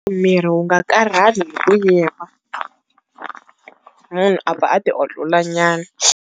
Miri wu nga karhali hi ku yima, munhu a pfa a ti olola nyana.